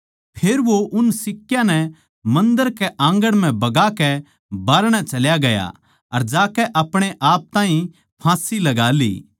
फेर वो उन सिक्का नै मन्दर के आंगण म्ह बगाकै बाहरणै चल्या गया अर जाकै अपणे आप ताहीं फाँसी लगा ली